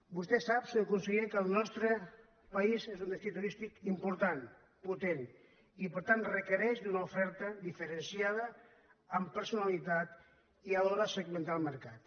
vostè sap senyor conseller que el nostre país és un destí turístic important potent i per tant requereix una oferta diferenciada amb per·sonalitat i alhora segmentar el mercat